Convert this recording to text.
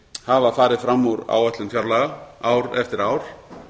hafa farið fram úr áætlun fjárlaga ár eftir ár